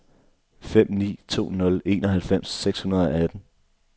fem ni to nul enoghalvfems seks hundrede og atten